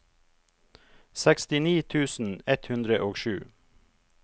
sekstini tusen ett hundre og sju